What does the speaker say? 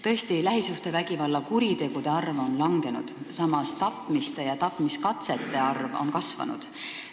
Tõesti, lähisuhtevägivalla kuritegude arv on langenud, samas on tapmiste ja tapmiskatsete arv kasvanud.